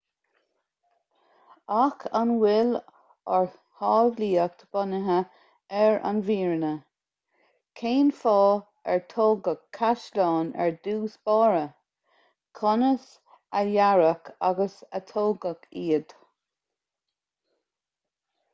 ach an bhfuil ár samhlaíocht bunaithe ar an bhfírinne cén fáth ar tógadh caisleáin ar dtús báire conas a dearadh agus a tógadh iad